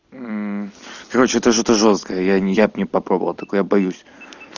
короче это что-то жёсткое я я б не попробовала такое я боюсь